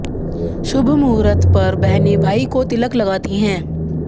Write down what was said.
शुभ मुहूर्त पर बहने भाई को तिलक लगाती हैं